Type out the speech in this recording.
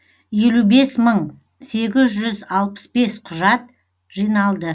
елу бес мың сегіз жүз алпыс бес құжат жиналды